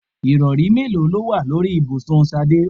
Ìrọ̀rí mélòó ló wà ní orí ibùsùn Ṣadé?